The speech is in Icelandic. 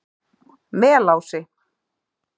Melási